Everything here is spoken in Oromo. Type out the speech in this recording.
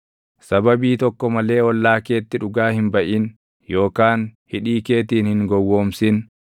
Sababii tokko malee ollaa keetti dhugaa hin baʼin yookaan hidhii keetiin hin gowwoomsin.